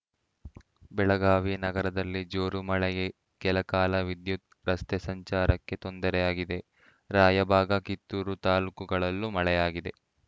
ಬೆಳಗಾವಿ ನಗರದಲ್ಲಿ ಜೋರು ಮಳೆಗೆ ಕೆಲಕಾಲ ವಿದ್ಯುತ್‌ ರಸ್ತೆ ಸಂಚಾರಕ್ಕೆ ತೊಂದರೆಯಾಗಿದೆ ರಾಯಬಾಗ ಕಿತ್ತೂರು ತಾಲೂಕುಗಳಲ್ಲೂ ಮಳೆಯಾಗಿದೆ